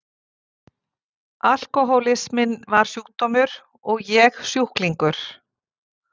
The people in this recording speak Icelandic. Alkohólisminn var sjúkdómur og ég sjúklingur.